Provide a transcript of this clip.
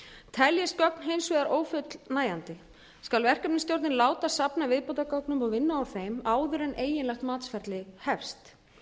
teljist gögn hins vegar ófullnægjandi skal verkefnisstjórnin láta safna viðbótargögnum og vinna úr þeim áður en eiginlegt matsferli hefst